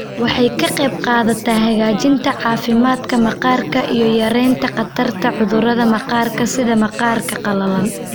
Waxay ka qaybqaadataa hagaajinta caafimaadka maqaarka iyo yaraynta khatarta cudurrada maqaarka sida maqaarka qalalan.